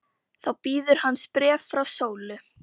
Þá bíður hans bréf frá Sólu.